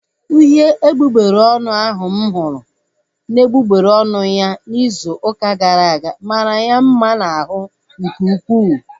Uhie egbugbere ọnụ ahu mụ hụrụ n'egbugbere ọnụ ya izu ụka gara aga mara ya mma n'ahụ nke ukwuu